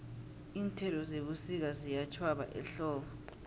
iinthelo zebusika ziyatjhwaba ehlobo